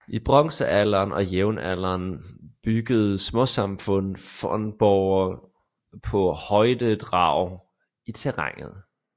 I bronzealderen og jernalderen byggede småsamfund fornborge på højdedrag i terrænet